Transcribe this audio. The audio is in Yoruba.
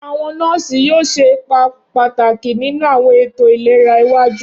Awọn nọọsi yoo ṣe ipa pataki ninu awọn eto ilera iwaju.